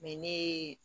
ne ye